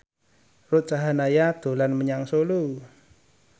Ruth Sahanaya dolan menyang Solo